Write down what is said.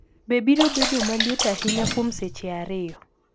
be biro bedo ma liet ahinya kuom seche ariyo?